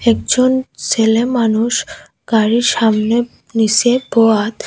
একজন সেলে মানুষ গাড়ির সামনে নীসে বোয়াত।